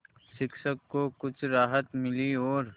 शिक्षक को कुछ राहत मिली और